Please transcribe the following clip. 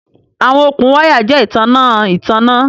Awọn okun waya jẹ itanna itanna